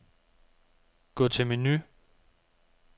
Gå til menu.